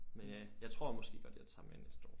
Men ja jeg tror måske godt jeg tager med næste år